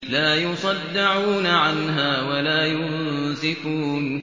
لَّا يُصَدَّعُونَ عَنْهَا وَلَا يُنزِفُونَ